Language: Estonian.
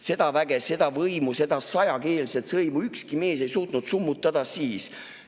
Seda väge, seda võimu, seda sajakeelset sõimu ükski mees ei suutnud summutada siis.